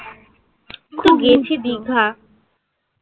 খুব গেছি দীঘা.